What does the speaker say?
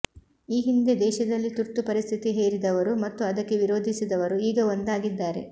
ಈ ಹಿಂದೆ ದೇಶದಲ್ಲಿ ತುರ್ತು ಪರಿಸ್ಥಿತಿ ಹೇರಿದವರು ಮತ್ತು ಅದಕ್ಕೆ ವಿರೋಧಿಸಿದವರು ಈಗ ಒಂದಾಗಿದ್ದಾರೆ